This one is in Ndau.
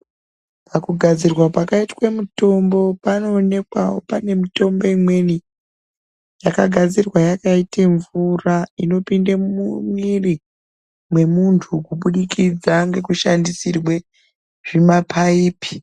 Pakugadzirwa kwakaitwe mitombo, panoonekwawo pane mitombo imweni, yakagadzirwa yakaite mvura, inopinde mumwiiri mwemuntu kuburikidza ngekushandisirwe, zvimaphaiphi.